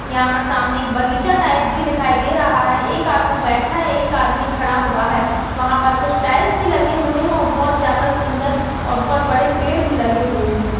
यहां पर सामने एक बगीचा टाइप भी दिखाई दे रहा हैं एक आदमी बैठा है एक आदमी खड़ा हुआ है वहां पर कुछ टाइल्स भी लगे हुए हैं और बहोत ज्यादा सुन्दर और बहोत बड़े पेड़ भी लगे हुए हैं।